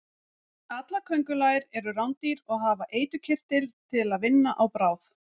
Allar köngulær eru rándýr og hafa eiturkirtil til að vinna á bráð.